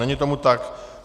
Není tomu tak.